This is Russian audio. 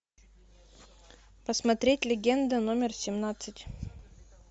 посмотреть легенда номер семнадцать